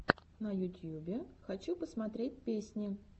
на ютьюбе хочу посмотреть песни